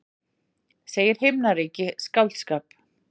Segir himnaríki skáldskap